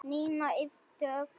Nína yppti öxlum.